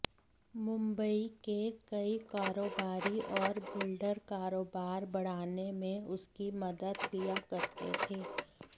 मुंबई के कई कारोबारी और बिल्डर कारोबार बढ़ाने में उसकी मदद लिया करते थे